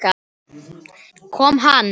Kom hann?